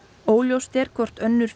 óljóst er hvort önnur